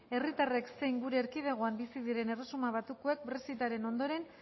herritarrek zein gure erkidegoan bizi diren erresuma batukoek brexitaren ondoren